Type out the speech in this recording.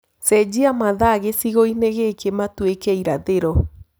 cenjĩa mathaa gĩcĩgoĩni gĩkĩ matũike irathĩro